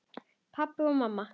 Pabbi og mamma